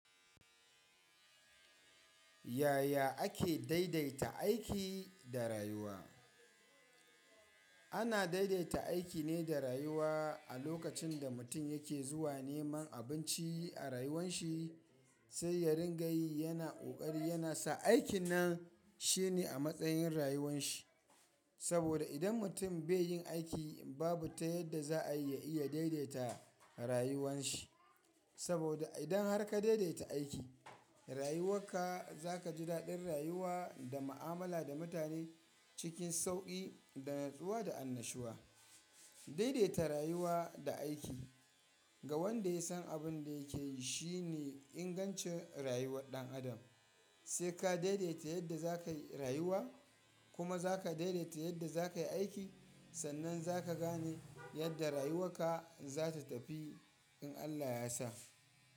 Yaya ake daidaita aiki da rayuwa? Ana daidaita aiki ne da rayuwa a lokacin da mutum yake zuwa neman abinci a rayuwan shi, sai ya ringa yi yana ƙoƙari yana sa aikin nan shine a matsayin rayuwan shi. Saboda idan mutum be yin aiki babu ta yadda za a iya iya daidaita rayuwan shi. Saboda idan har ka daidaita aiki, rayuwar ka za ka ji daɗin rayuwa da mu'amala da mutane cikin sauƙi da natsuwa da annashuwa. Daidaita rayuwa da aiki ga wanda ya san abin da yake yi shine ingancin rayuwar ɗan adam. Sai ka daidaita yadda za ka yi rayuwa kuma za ka daidaita yadda za ka yi aiki, sannan za ka gane yadda rayuwar ka za ta tafi in Allah ya sa.